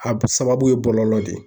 A sababu ye bɔlɔlɔ de ye.